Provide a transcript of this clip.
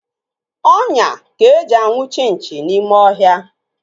Ọnyá ka eji anwụchi nchi n'ime ọhịa.